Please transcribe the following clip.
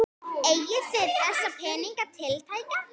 Eigið þið þessa peninga tiltæka?